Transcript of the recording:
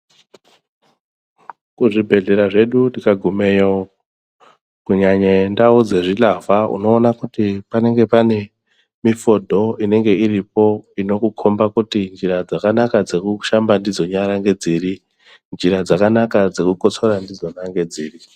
Kuzvibhedhlera zvedu tikagumeyo, kunyanye ndau dzezvilavha unoona kuti, panenge pane mifodho inenge iripo, inokukhomba kuti njira dzakanaka dzekushamba ndidzo nyara ngedziri, njira dzakanaka dzekukotsora ndidzona ngedziri.